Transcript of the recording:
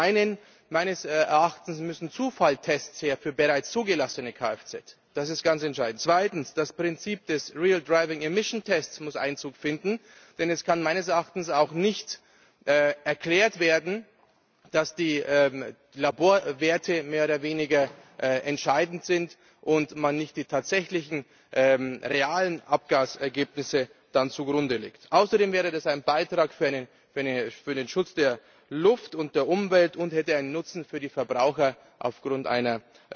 Zum einen Meines Erachtens müssen Zufalltests für bereits zugelassene Kfz her. Das ist ganz entscheidend. Zweitens Das Prinzip des real driving emission test muss Einzug finden, denn es kann meines Erachtens auch nicht erklärt werden, dass die Laborwerte mehr oder weniger entscheidend sind und man nicht die tatsächlichen realen Abgasergebnisse zugrunde legt. Außerdem wäre das ein Beitrag für den Schutz der Luft und der Umwelt und hätte einen Nutzen für die Verbraucher aufgrund